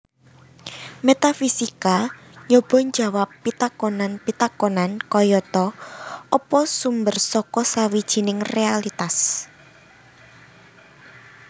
Métafisika nyoba njawab pitakonan pitakonan kayata Apa sumber saka sawijining réalitas